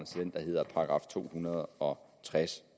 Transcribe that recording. der hedder § to hundrede og tres